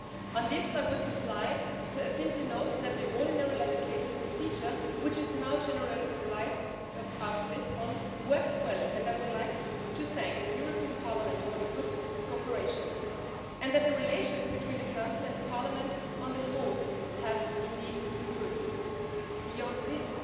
On this I would simply note that the ordinary legislative procedure, which is now generalised after Lisbon, works well and I would like to thank the European Parliament for the good cooperation and that the relations between the Council and Parliament on the whole have indeed improved. Beyond this,